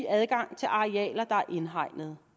adgang til arealer der er indhegnet